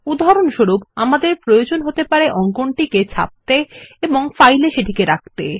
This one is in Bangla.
উদাহরণস্বরূপ আমাদের প্রয়োজন হতে পারে অঙ্কনটিকে ছাপতে এবং ফাইল এ সেটিকে রাখা